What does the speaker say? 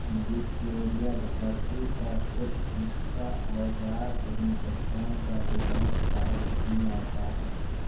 Victoria धरती का कुछ हिस्सा और रॉस हिमचट्टान का अधिकांश भाग इसमें आता है